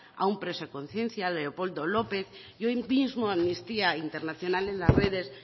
a un preso a conciencia leopoldo lópez y hoy mismo amnistía internacional en las redes